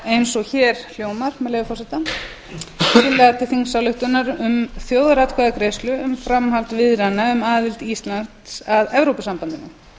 eins og hér hljómar með leyfi forseta tillaga til þingsályktunar um þjóðaratkvæðagreiðslu um framhald viðræðna um aðild íslands að evrópusambandinu